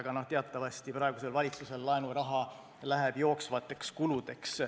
Aga no teatavasti praegusel valitsusel läheb laenuraha jooksvateks kuludeks.